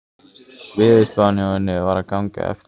Veðurspáin hjá henni var að ganga eftir.